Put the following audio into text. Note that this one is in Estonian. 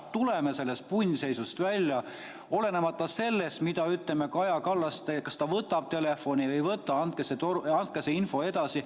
Tuleme sellest punnseisust välja, olenemata sellest, mida Kaja Kallas teeb, kas ta võtab telefoni või ei võta, andke see info edasi.